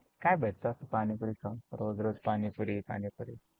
काय भेटतं पाणीपुरीच्या? रोज रोज पाणीपुरी पाणीपुरी.